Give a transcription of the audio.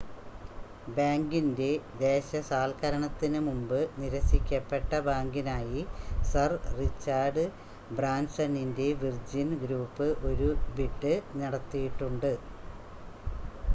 ബാങ്കിൻ്റെ ദേശസാൽക്കരണത്തിന് മുമ്പ് നിരസിക്കപ്പെട്ട ബാങ്കിനായി സർ റിച്ചാർഡ് ബ്രാൻസണിൻ്റെ വിർജിൻ ഗ്രൂപ്പ് ഒരു ബിഡ് നടത്തിയിട്ടുണ്ട്